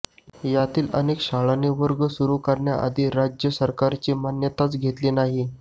यातील अनेक शाळांनी वर्ग सुरू करण्याआधी राज्य सरकारची मान्यताच घेतलेली नाही